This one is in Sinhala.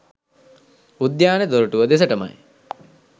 උද්‍යාන දොරටුව දෙසටමයි